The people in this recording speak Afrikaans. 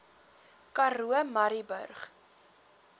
karoo murrayburg